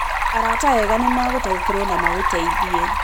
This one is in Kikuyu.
Arata ega nĩ magũtaũkĩrũo na magũteithie.